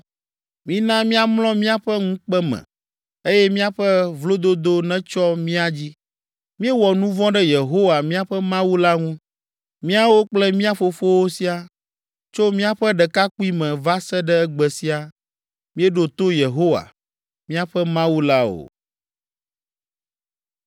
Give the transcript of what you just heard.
Mina míamlɔ míaƒe ŋukpe me eye míaƒe vlododo netsyɔ mía dzi. Míewɔ nu vɔ̃ ɖe Yehowa, míaƒe Mawu la ŋu, míawo kple mía fofowo siaa, tso míaƒe ɖekakpuime va se ɖe egbe sia, míeɖo to Yehowa, míaƒe Mawu la o.”